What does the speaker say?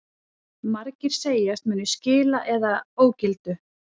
Margir segjast munu skila eða ógildu